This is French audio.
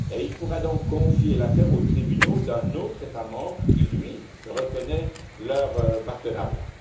Il pourra donc confier l'affaire aux tribunaux d'un autre État membre qui, lui, reconnaît leur partenariat.